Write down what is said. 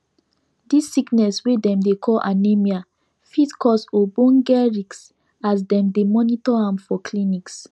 this sickness wey dem dey call anemia fit cause ogboge risk as dem dey monitor am for clinics